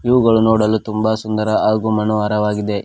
ಇವುಗಳು ನೋಡಲು ತುಂಬಾ ಸುಂದರ ಹಾಗೂ ಮನೋಹರವಾಗಿದೆ.